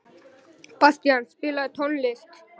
Bastían, spilaðu tónlist.